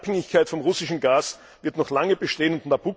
Die Abhängigkeit vom russischen Gas wird noch lange bestehen.